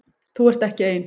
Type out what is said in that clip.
Þú ert ekki ein.